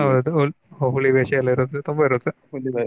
ಹೌದು ಹುಲಿ ವೇಷ ಎಲ್ಲ ಇರುತ್ತೆ ತುಂಬಾ ಇರುತ್ತೆ.